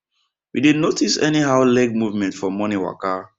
we dey notice anyhow leg movement for morning waka